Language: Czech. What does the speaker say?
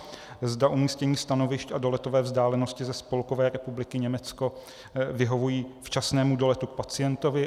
Zda umístění stanovišť a doletové vzdálenosti ze Spolkové republiky Německo vyhovují včasnému doletu k pacientovi.